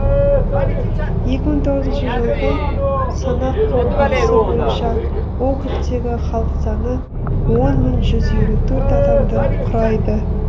екі мың тоғызыншы жылғы санақ қорытындысы бойынша округтегі халық саны он мың жүз елу төрт адамды құрайды